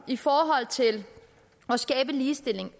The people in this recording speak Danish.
i forhold til at skabe ligestilling